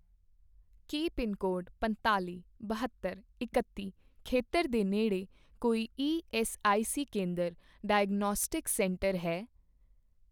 ਕੀ pin code ਪੰਤਾਲ਼ੀ, ਬਹੱਤਰ, ਇਕੱਤੀ ਖੇਤਰ ਦੇ ਨੇੜੇ ਕੋਈ ਈਐੱਸਆਈਸੀ ਕੇਂਦਰ ਡਾਇਗਨੌਸਟਿਕਸ ਸੈਂਟਰ ਹੈ?